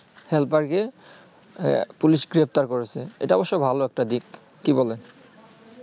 helper কে আহ police গ্রেফতার করেছে এইটা অবশ্য ভালো একটা দিক কি বলেন?